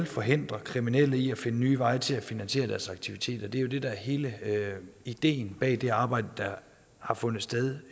forhindre kriminelle i at finde nye veje til at finansiere deres aktiviteter det er jo det der er hele ideen bag det arbejde der har fundet sted